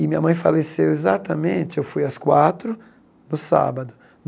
E minha mãe faleceu exatamente, eu fui às quatro no sábado.